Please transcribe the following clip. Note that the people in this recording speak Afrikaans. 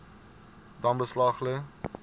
dan beslag lê